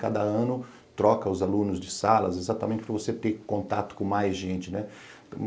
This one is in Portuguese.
Cada ano troca os alunos de salas exatamente para você ter contato com mais gente, né?